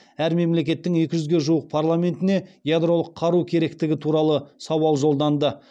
әр мемлекеттің екі жүзге жуық парламентіне ядролық қару керектігі туралы сауал жолданды